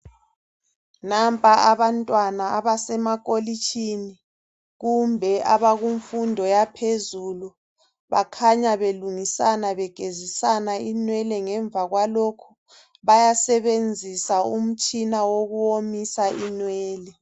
Nampa abantwana abasemakolitshini kumbe abakumfundo yaphezulu bakhanya belungisana begezisana inwele ngemva kwalokho bayasebenzisa umtshina wokuwomisa inwele.